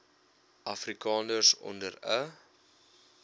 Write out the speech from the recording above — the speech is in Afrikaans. afrikaners onder n